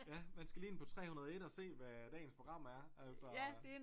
Ja man skal lige ind på 301 og se hvad dagens program er altså